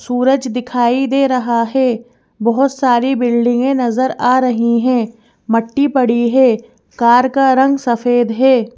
सूरज दिखाई दे रहा है बहोत सारी बिल्डिंगे है नजर आ रही है मट्टी पड़ी है कार का रंग सफेद है।